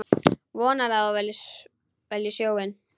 Vonar að hún velji sjóinn.